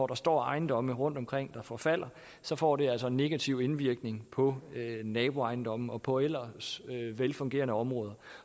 der står ejendomme rundtomkring der forfalder så får det altså en negativ indvirkning på naboejendomme og på ellers velfungerende områder